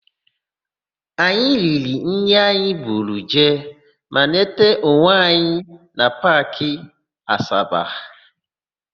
Anyị riri nri anyị buru jee ma nweta onwe anyị na Paakị Asaba.